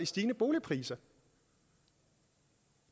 stigende boligpriser